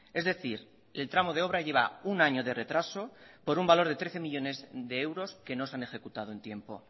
es decir el tramo de obra lleva un año de retraso por un valor de trece millónes de euros que no se han ejecutado en tiempo